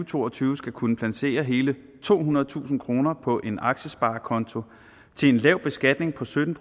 to og tyve skal kunne placere hele tohundredetusind kroner på en aktiesparekonto til en lav beskatning på sytten